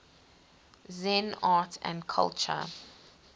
zen art and culture